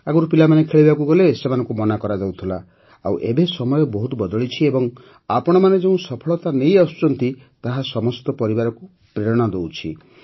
ଆଗରୁ ପିଲାମାନେ ଖେଳିବାକୁ ଗଲେ ସେମାନଙ୍କୁ ମନା କରାଯାଉଥିଲା ଆଉ ଏବେ ସମୟ ବହୁତ ବଦଳିଛି ଏବଂ ଆପଣମାନେ ଯେଉଁ ସଫଳତା ନେଇ ଆସୁଛନ୍ତି ତାହା ସମସ୍ତ ପରିବାରକୁ ପ୍ରେରଣା ଦେଇଥାଏ